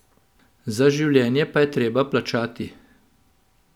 Za življenje pa je treba plačati.